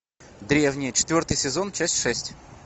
древние четвертый сезон часть шесть